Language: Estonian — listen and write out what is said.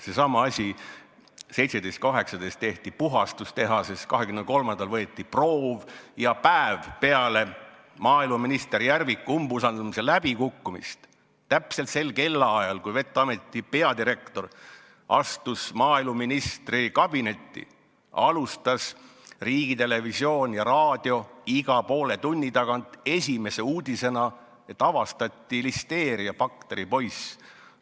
Seesama asi, et 17.–18. detsembril tehti puhastus tehases, 23. detsembril võeti proov ja päev peale maaeluminister Järviku umbusaldamise läbikukkumist – täpselt sel kellaajal, kui vet-ameti peadirektor astus maaeluministri kabinetti – alustas riigitelevisioon ja raadio iga poole tunni tagant esimese uudisena, et avastati listeeriabakteri poiss.